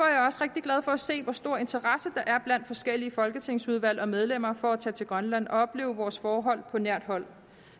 jeg også rigtig glad for at se hvor stor interesse der er blandt de forskellige folketingsudvalg og medlemmer for at tage til grønland og opleve vores forhold på nært hold